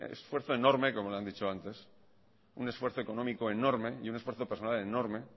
esfuerzo enorme como le han dicho antes un esfuerzo económico enorme y un esfuerzo personal enorme